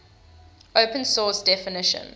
open source definition